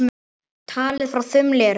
Talið frá þumli eru þau